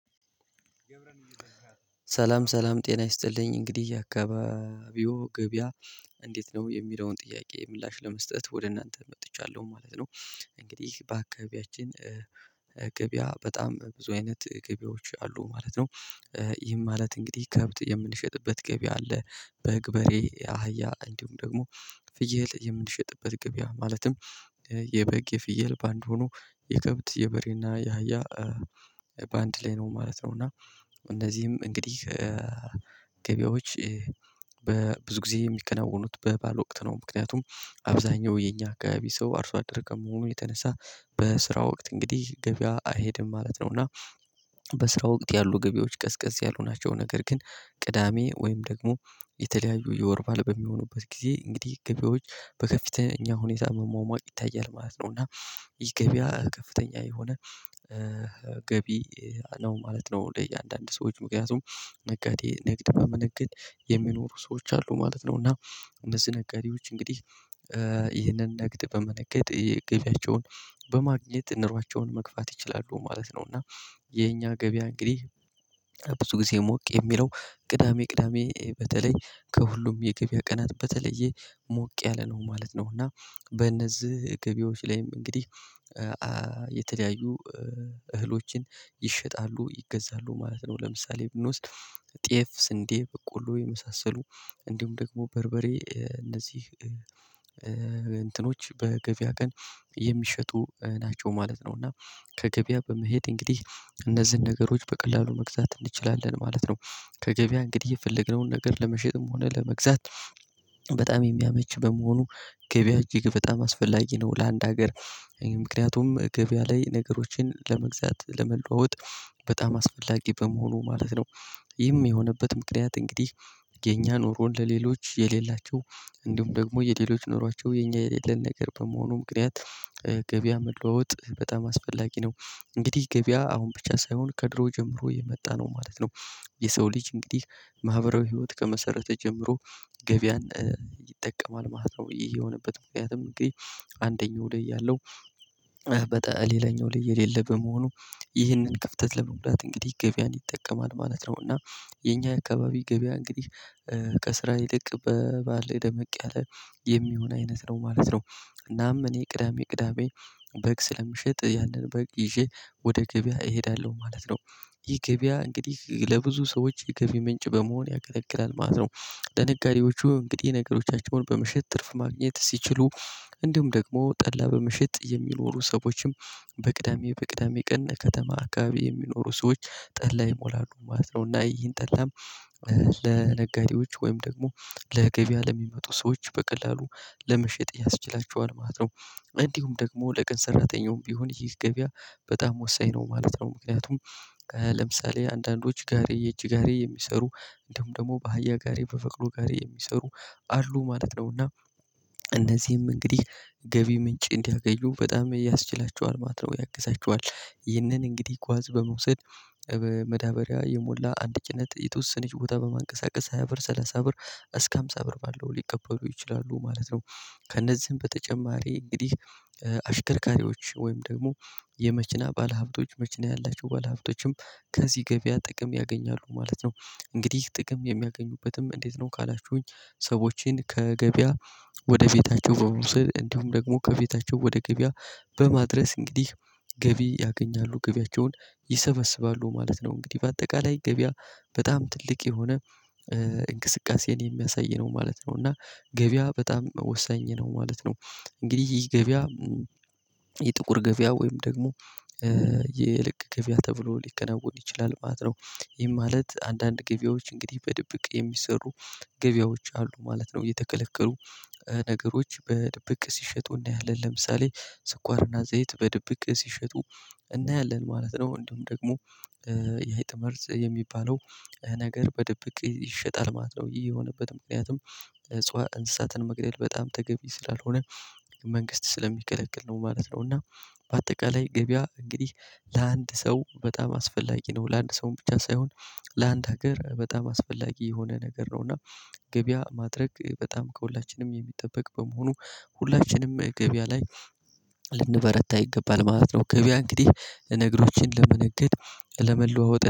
ሰላም ሰላም ጤና ይስጥልኝ። እንግዲህ የአካባቢው ገበያ እንዴት ነው የሚለውን ጥያቄ ምላሽ ለመስጠት ወደ እናንተ መጥቻለሁ ማለት ነው። እንግዲህ በአካባቢያችን ገቢያ በጣም ብዙ አይነት ገበያዎች አሉ ማለት ነው። ይህም ማለት እንግዲህ ከብት የምንሸጥበት ገበያ አለ። በግ በሬ አህያ እንዲሁም ደግሞ ፍየል የምንሸጥበት ገበያ ማለትም የበግ የፍየል ባንድ ሆኖ የከብት የበሬና የሃያ ባንድ ላይ ነው ማለት ነው። እና እነዚህም እንግዲህ ገበያዎች በብዙ ጊዜ የሚከናወኑት በባል ወቅት ነው። ምክንያቱም አብዛኛው የኛ አከባቢ ሰው አርሶ አደረገም ከመሆኑ የተነሳ በስራ ወቅት እንግዲህ ገቢያ አይሄድም ማለት ነው። እና በስራ ወቅት ያሉ ገበያዎች ቀዝቀዝ ያልሆናቸው ነገር ግን ቅዳሜ ወይም ደግሞ የተለያዩ የወር ባዐለ በሚሆኑበት ጊዜ እንግዲህ ገበያዎች በከፍተኛ ሁኔታ መሟሟቅ ይታያል ማለት ነው። እና ይህ ገበያ ከፍተኛ የሆነ ገቢ ነው ማለት ነው። ለእያንዳንዱ ሰዎች ምክንያቱም ነጋዴ ንግድ በመነገድ የሚኖሩ ሰዎች አሉ ማለት ነው። እና እነዚህ ነጋዴዎች እንግዲህ ይህንን ንግድ በመነገጥ ገቢያቸውን በማግኘት እንሯቸውን መግፋት ይችላሉ ማለት ነው። እና የኛ ገበያ እንግዲህ ብዙ ጊዜ ሞቅ የሚለው ቅዳሜ ቅዳሜ በተለይ ከሁሉም የገበያ ቀናት በተለየ ሞቅ ያለ ነው ማለት ነው። እና በእነዚህ ገቢዎች ላይም እንግዲህ የተለያዩ እህሎችን ይሸጣሉ ይገዛሉ ማለት ነው። ለምሳሌ ብንወስድ ጤፍ ስንዴ በቆሎ የመሳሰሉ እንዲሁም ደግሞ በርበሬ እነዚህ እንትኖች በገበያ ቀን የሚሸጡ ናቸው ማለት ነው። እና ከገበያ በመሄድ እንግዲህ እነዚህን ነገሮች በቀላሉ መግዛት እንችላለን ማለት ነው። ከገበያ እንግዲህ የፈለግነውን ነገር ለመሸጥም ሆነ ለመግዛት በጣም የሚያመች በመሆኑ ገበያ እጅግ በጣም አስፈላጊ ነው። ለአንድ ሀገር ምክንያቱም ገበያ ላይ ነገሮችን ለመግዛት ለመለዋወጥ በጣም አስፈላጊ በመሆኑ ማለት ነው። ይህም የሆነበት ምክንያት እንግዲህ የኛ ኑሮ ለሌሎች የሌላቸው እንዲሁም ደግሞ የሌሎች ኖሯቸው የኛ የሌለን ነገር በመሆኑ ምክንያት ገበያ መለዋወጥ በጣም አስፈላጊ ነው። እንግዲህ ገበያ አሁን ብቻ ሳይሆን ከድሮ ጀምሮ የመጣ ነው ማለት ነው። የሰው ልጅ እንግዲህ ማህበራዊ ህይወት ከመሰረተ ጀምሮ ገበያን ይጠቀማል ማለት ነው። ይሄ የሆነበት ምክንያትም እንግዲህ አንደኛው ላይ ያለው በጣም ሌላኛው ላይ የሌለ በመሆኑ ይህንን ክፍተት ለመሙላት እንግዲህ ገቢያን ይጠቀማል ማለት ነው። እና የኛ አካባቢ ገበያ እንግዲህ ከስራ ይልቅ በባል ላይ ደመቅ ያለ የሚሆን አይነት ነው ማለት ነው። እናም እኔ ቅዳሜ ቅዳሜ በግ ስለምሸጥ ያንን በግ ይዤ ወደ ገበያ እሄዳለሁ ማለት ነው። ይህ ገበያ እንግዲህ ለብዙ ሰዎች የገበያ ምንጭ በመሆን ያገለግላል ማለት ነው። ለነጋዴዎቹ እንግዲህ ነገሮቻቸውን በመሸጥ ትርፍ ማግኘት ሲችሉ እንዲሁም ደግሞ ጠላ በምሽት የሚኖሩ ሰዎችም በቅዳሜ በቅዳሜ ቀን እከተማ አርካባቢ የሚኖሩ ሰዎች ጠላ ይሞላሉ ማለት ነው። እና ይሄን ጠላም ለነጋዴዎች ወይም ደግሞ ለገቢያ ለሚመጡ ሰዎች በቀላሉ ለመሸጥ ያስችላቸዋል ማለት ነው። እንዲሁም ደግሞ ለቀን ሰራተኛውም ቢሆን ይህ ገበያ በጣም ወሳኝ ነው ማለት ነው። ምክንያቱም ለምሳሌ አንዳንዶች ጋሪ የእጅ ጋሪ የሚሰሩ እንዲሁም ደግሞ በአህያ ጋሪ በበቅሎ ጋሪ የሚሰሩ አሉ ማለት ነውና እነዚህም እንግዲህ ገቢ ምንጭ እንዲያገኙ በጣም ያስችላቸዋል ማለት ነው። ያግዛቸዋል ይህንን እንግዲህ ጓዝ በመውሰድ በመዳበሪያ የሞላ አንድ ጭነት የተወሰነች ቦታ በማንቀሳቀስ ሃያ ብር ሰላሳ ብር እስከ አምሳ ብር ባለው ሊቀበሉ ይችላሉ ማለት ነው። ከእነዚህም በተጨማሪ እንግዲህ አሽከርካሪዎች ወይም ደግሞ የመኪና ባለሀብቶች መኪና ያላቸው ባለሀብቶችም ከዚህ ገበያ ጥቅም ያገኛሉ ማለት ነው። እንግዲህ ጥቅም የሚያገኙበትም እንዴት ነው ካላችሁኝ? ሰዎችን ከገበያ ወደ ቤታቸው በመውስድ እንዲሁም ደግሞ ከቤታቸው ወደ ገበያ በማድረስ እንግዲህ ገቢ ያገኛሉ ገቢያቸውን ይሰበስባሉ ማለት ነው። እንግዲህ በአጠቃላይ ገበያ በጣም ትልቅ የሆነ እንቅስቃሴን የሚያሳይ ነው ማለት ነው። እና ገበያ በጣም ወሳኝ ነው ማለት ነው። እንግዲህ ይሄ ገበያ የጥቁር ገበያ ወይም ደግሞ የልክ ገበያ ተብሎ ሊከናወን ይችላል ማለት ነው። ይሄ ማለት አንዳንድ ገበያዎች እንግዲህ በድብቅ የሚሰሩ ገበያዎች አሉ ማለት ነው። የተከለከሉ ነገሮች በድብቅ ሲሸጡና እናያለን ለምሳሌ ስኳርና ዘይት በድብቅ ሲሸጡ እናያለን ማለት ነው። እንደውም ደግሞ ያይ ጥምር የሚባለው ነገር በድብቅ ይሸጣል ማለት ነው። ይህ የሆነበትም ምክንያትም እጽዋት እንስሳትን መግደል በጣም ተገቢ ስላልሆነ መንግስት ስለሚከለክል ነው ማለት ነው። እና በአጠቃላይ ገበያ እንግዲህ ለአንድ ሰው በጣም አስፈላጊ ነው ለአንድ ሰው ብቻ ሳይሆን ለአንድ ሀገር በጣም አስፈላጊ የሆነ ነገር ነው። እና ገበያ ማድረግ በጣም ከሁላችንም የሚጠበቅ በመሆኑ ሁላችንም ገበያ ላይ ልንበረታ ይገባል ማለት ነው። ገበያ እንግዲህ ነገሮችን ለመነገድ ለመለዋወጥ